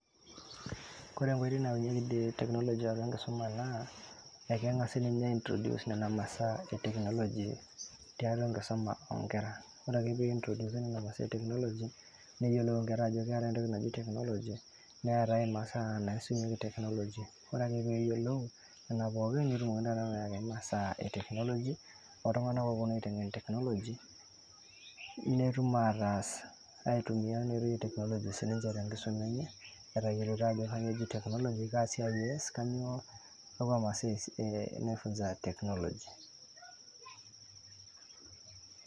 Kore wejitin neunyeki teknoloji te nkisuma naa ekemgasi ninye aitroduce nean masaa eteknoloji teatua enkisuma oonkerra, ore ake peintroduusi nena masaa eteknoloji neyelou i kerra ajo keatae entoki najii technology neatae masaa natii si ninye technology ore ake peeyolou nena pookin netumokini taa ayau masaa eteknoloji oltungana ooponu aitengen technology netumoki aitumiya metayoloto sii ninche te nkisuma enye metoyoloto ajo kanyioo eji teknoloji, kaa siaai eas kanyioo paa esiaai sidai neifunzai teknoloji.